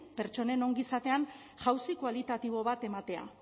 pertsonen ongizatean jauzi kualitatibo bat ematea